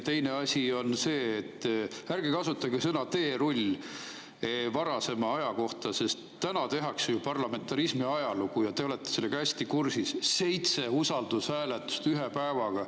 Teine asi on see, et ärge kasutage sõna "teerull" varasema aja kohta, sest täna tehakse ju parlamentarismi ajalugu ja te olete sellega hästi kursis: seitse usaldushääletust ühe päevaga.